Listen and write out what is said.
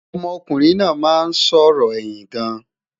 ọmọ kunrin nà má n sòrò ẹyìn gaan